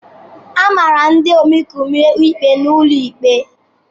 A mara ndị omekome ikpe n'ụlọ ikpe.